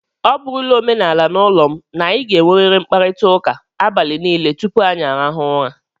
Ọ bụrụla omenala n'ụlọ m, na anyị ga-enwerịrị mkparịtaụka abalị niile tupu anyị arahụọ ụra.